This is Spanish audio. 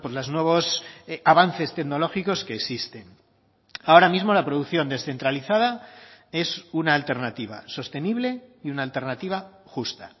los nuevos avances tecnológicos que existen ahora mismo la producción descentralizada es una alternativa sostenible y una alternativa justa